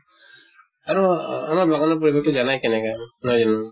আৰু আমাৰ বাগানৰ পৰিবেশ টো জানাই কেনেকা নহয় জানো?